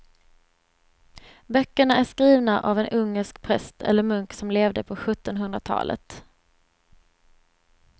Böckerna är skrivna av en ungersk präst eller munk som levde på sjuttonhundratalet.